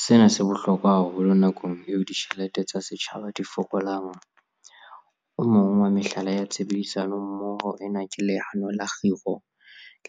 Sena se bohlokwa haholo nakong eo ditjhelete tsa setjhaba di fokolang. O mong wa mehlala ya tshebedisano mmoho ena ke Leano la Kgiro